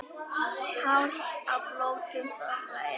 Hár á blótum þorra er.